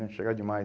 né chegava demais.